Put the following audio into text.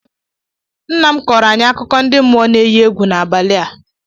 Nna m kọọrọ anyị akụkọ ndị mmụọ n'enyi egwu n'abali ua